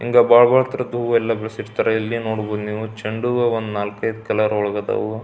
ಹಿಂಗೇ ಭಾಲಗೊಳ್ ತರದು ಹೂವು ಎಲ್ಲ ಬೆಳೆಸಿರ್ತಾರೆ ಇಲ್ಲಿ ನೋಡಬಹುದು ನೀವು ಚೆಂಡು ಹೂವು ಒಂದು ನಾಲ್ಕೈದು ಕಲರ್ ಇದಾವು.